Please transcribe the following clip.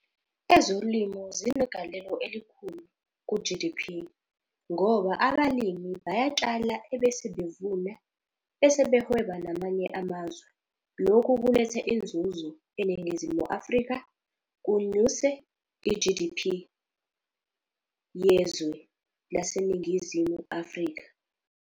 Ezolimo zinegalelo elikhulu ku-G_D_P, ngoba abalimi bayatshala ebese bevuna, bese behweba namanye amazwe. Lokhu kuletha inzuzo eNingizimu Afrika, kunyuse i-G_D_P yezwe lase Ningizimu Afrika.